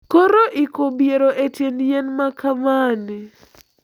Koro iko biero e tiend yien makamani,